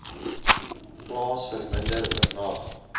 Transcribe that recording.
plaas verminder oornag